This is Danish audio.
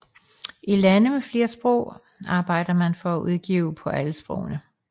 I lande med flere sprog arbejder man for at udgive på alle sprogene